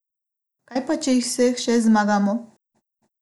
Kaj pa če jih vseh šest zmagamo?